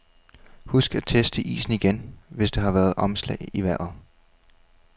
Husk at teste isen igen, hvis der har været omslag i vejret.